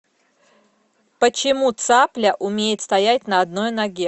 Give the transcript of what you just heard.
почему цапля умеет стоять на одной ноге